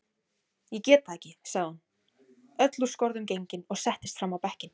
Ég get það ekki, sagði hún öll úr skorðum gengin og settist fram á bekkinn.